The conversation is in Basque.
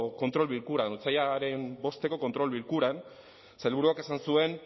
kontrol bilkuran otsailaren bosteko kontrol bilkuran sailburuak esan zuen